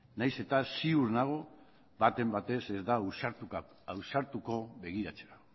nahiz eta ziur nago baten batek ez da ausartuko begiratzera